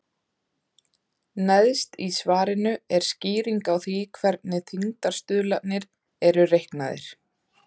Neðst í svarinu er skýring á því hvernig þyngdarstuðlarnir eru reiknaðir.